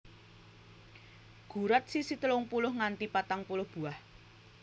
Gurat sisi telung puluh nganti patang puluh buah